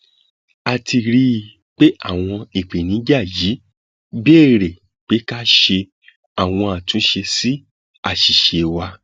a ti rí i pé àwọn ìpèníjà yìí béèrè pé ká ṣe àwọn àtúnṣe sí àṣìṣe wa